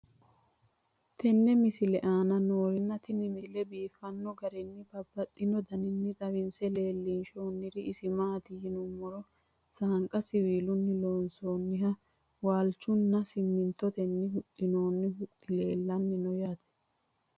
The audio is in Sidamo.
tenne misile aana noorina tini misile biiffanno garinni babaxxinno daniinni xawisse leelishanori isi maati yinummoro saanqa siwiillunni loonsoonnihu waalichu nna simintottenni huxxinoonni huxxi leelanni noo yaatte